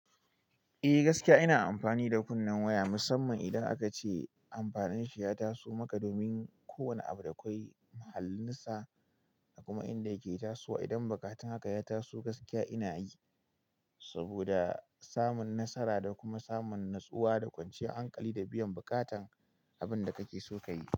Eh gaskiya ina amfani da kunnen waya musamman idan aka ce amfanin shi ya taso maka domin ko wane abu da akwai muhallinsa da kuma inda yake tasowa. Idan bukatun haka ya taso gaskiya ina yi. Saboda samun nasara da kuma samun natsuwa da kwanciyar hankali da biyan bukatan abun da kake so ka yi.